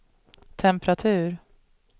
temperatur